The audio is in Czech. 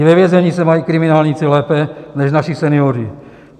I ve vězení se mají kriminálníci lépe než naši senioři.